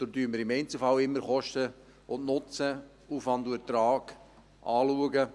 Daher schauen wir im Einzelfall immer Kosten und Nutzen, Aufwand und Ertrag an.